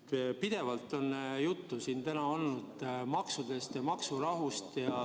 Siin on täna pidevalt juttu olnud maksudest ja maksurahust.